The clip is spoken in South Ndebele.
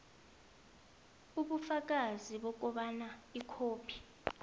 ubufakazi bokobana ikhophi